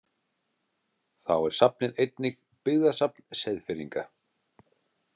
Þá er safnið einnig byggðasafn Seyðfirðinga.